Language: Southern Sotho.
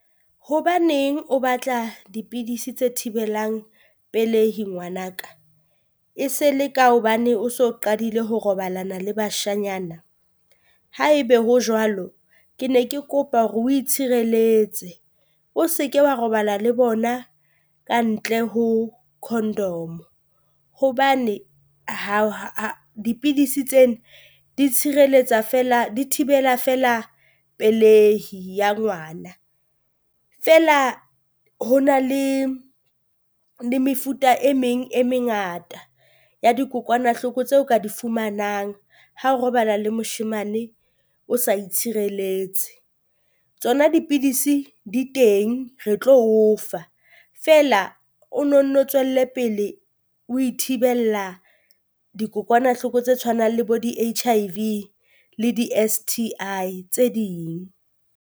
Hobaneng o batla dipidisi tse thibelang pelehi ngwanaka? E se le ka hobane o so qadile ho robalana le bashanyana? Haebe ho jwalo, ke ne ke kopa hore o itshireletse o se ke wa robala le bona ka ntle ho condom. Hobane dipidisi tsena di tshireletsa feela di thibela feela pelehi ya ngwana, feela ho na le le mefuta e meng e mengata ya dikokwanahloko tse o ka di fumanang ha o robala le moshemane o sa itshireletse. Tsona dipidisi di teng, re tlo o fa feela, o no nno tswelle pele ho ithibella dikokwanahloko tse tshwanang le bo di H_I_V le di S_T_I tse ding.